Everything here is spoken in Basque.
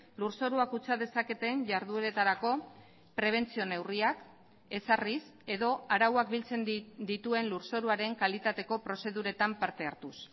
lur zorua kutsa dezaketen jardueretarako prebentzio neurriak ezarriz edo arauak biltzen dituen lur zoruaren kalitateko prozeduretan parte hartuz